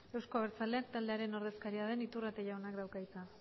euzko abertzaleak taldearen ordezkaria den iturrate jaunak dauka hitza